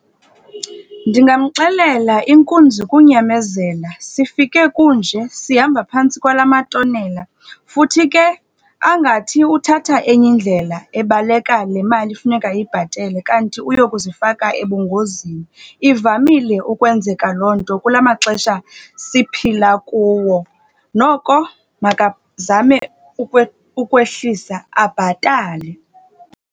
Ndingamxelela, inkunzi kunyamezela. Sifike kunje, sihamba phantsi kwala matonela, futhi ke angathi uthatha enye indlela ebaleka le mali efuneka eyibhatele, kanti uyokuzifaka ebungozini. Ivamile ukwenzeka loo nto kula maxesha siphila kuwo. Noko makazame ukwehlisa, abhatale.